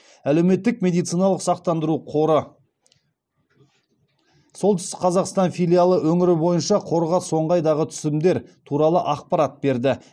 әлеуметтік медициналық сақтандыру қоры солтүстік қазақстан филиалы өңір бойынша қорға соңғы айдағы түсімдер туралы ақпарат берді